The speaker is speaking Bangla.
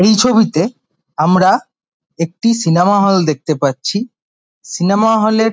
এই ছবিতে আমরা একটি সিনেমা হল দেখতে পাচ্ছি সিনেমা হল -এর |